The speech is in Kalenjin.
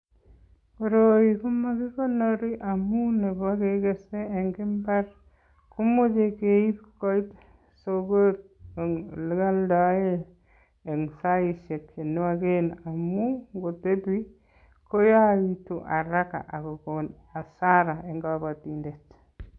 Koroi komakikonori amun nebo kegese en imbar komoche keib koit soko ole kioldoen en saisiek che nwogen amun ngotebi ko yochegitu haraka ago kon hasara en kobotindet.